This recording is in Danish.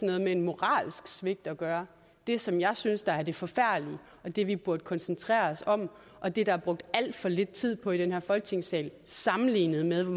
noget med moralsk svigt at gøre det som jeg synes er det forfærdelige og det vi burde koncentrere os om og det er der brugt alt for lidt tid på i den her folketingssal sammenlignet med hvor